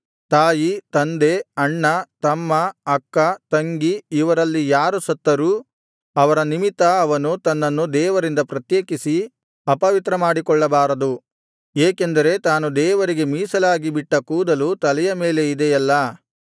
ತಾಯಿ ತಂದೆ ಅಣ್ಣ ತಮ್ಮ ಅಕ್ಕ ತಂಗಿ ಇವರಲ್ಲಿ ಯಾರು ಸತ್ತರೂ ಅವರ ನಿಮಿತ್ತ ಅವನು ತನ್ನನ್ನು ದೇವರಿಂದ ಪ್ರತ್ಯೇಕಿಸಿ ಅಪವಿತ್ರಮಾಡಿಕೊಳ್ಳಬಾರದು ಏಕೆಂದರೆ ತಾನು ದೇವರಿಗೆ ಮೀಸಲಾಗಿ ಬಿಟ್ಟ ಕೂದಲು ತಲೆಯ ಮೇಲೆ ಇದೆಯಲ್ಲಾ